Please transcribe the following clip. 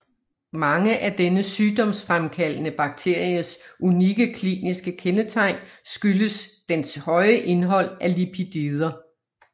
Mange af denne sygdomsfremkaldende bakteries unikke kliniske kendetegn skyldes dens høje indhold af lipider